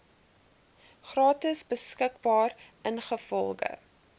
gratis beskikbaar ingevolge